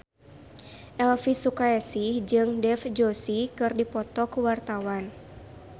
Elvi Sukaesih jeung Dev Joshi keur dipoto ku wartawan